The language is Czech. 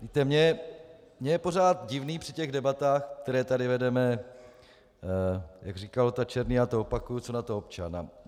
Víte, mně je pořád divné při těch debatách, které tady vedeme - jak říkal Ota Černý, já to opakuju: co na to občan?